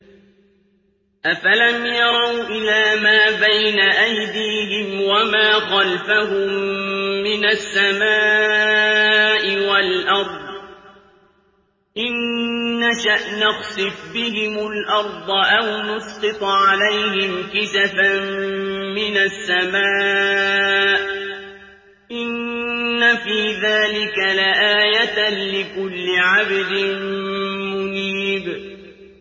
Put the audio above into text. أَفَلَمْ يَرَوْا إِلَىٰ مَا بَيْنَ أَيْدِيهِمْ وَمَا خَلْفَهُم مِّنَ السَّمَاءِ وَالْأَرْضِ ۚ إِن نَّشَأْ نَخْسِفْ بِهِمُ الْأَرْضَ أَوْ نُسْقِطْ عَلَيْهِمْ كِسَفًا مِّنَ السَّمَاءِ ۚ إِنَّ فِي ذَٰلِكَ لَآيَةً لِّكُلِّ عَبْدٍ مُّنِيبٍ